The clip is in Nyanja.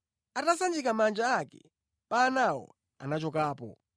Atasanjika manja ake pa anawo, anachokapo.